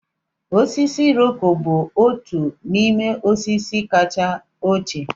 Osisi Iroko bụ otu n'ime osisi kacha ochie.